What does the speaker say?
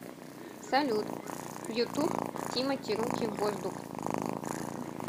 салют ютуб тимати руки в воздух